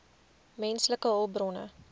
menslike hulpbronne